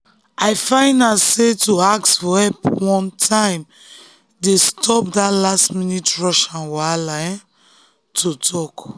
i find out sey to ask for help on time dey stop that last-minute rush and wahala um to um talk.